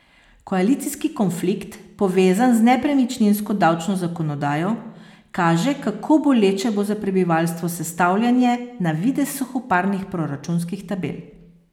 Koalicijski konflikt, povezan z nepremičninsko davčno zakonodajo, kaže, kako boleče bo za prebivalstvo sestavljanje na videz suhoparnih proračunskih tabel.